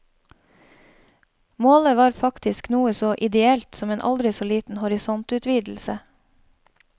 Målet var faktisk noe så ideelt som en aldri så liten horisontutvidelse.